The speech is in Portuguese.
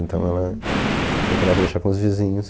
Então ela procurava deixar com os vizinhos.